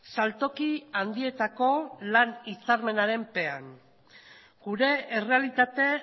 saltoki handietako lan hitzarmenaren pean gure errealitate